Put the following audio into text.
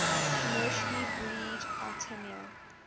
commercially breed artemia